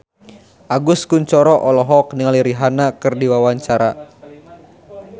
Agus Kuncoro olohok ningali Rihanna keur diwawancara